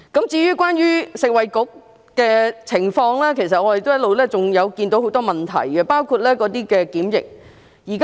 至於食物及衞生局，其實我們一直看到很多問題，包括在檢疫方面。